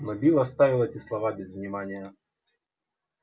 но билл оставил эти слова без внимания